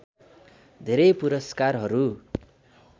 धेरै पुरस्कारहरू